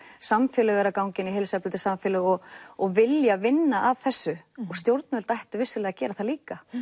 samfélög eru að ganga inn í heilsueflandi samfélög og og vilja vinna að þessu og stjórnvöld ættu vissulega að gera það líka